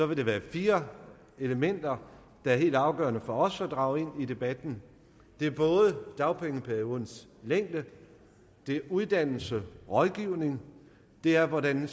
vil der være fire elementer der er helt afgørende for os at drage ind i debatten det er dagpengeperiodens længde det er uddannelse og rådgivning det er hvordan